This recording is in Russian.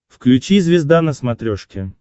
включи звезда на смотрешке